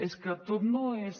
és que tot no és